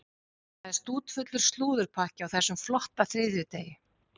Það er stútfullur slúðurpakki á þessum flotta þriðjudegi.